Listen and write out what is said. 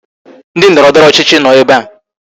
Ndị ndọrọndọrọ ọchịchị nọ ebe a